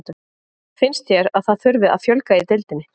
Finnst þér að það þurfi að fjölga í deildinni?